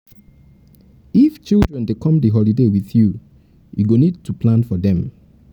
if children dey come di holiday with you you you go need to plan for dem